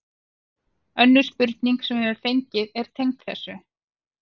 Önnur spurning sem við höfum fengið er tengd þessu: